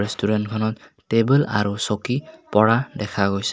Restaurant খনত table আৰু চকী পৰা দেখা গৈছে।